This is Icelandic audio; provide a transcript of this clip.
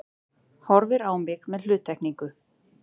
Horfir á mig með hluttekningu.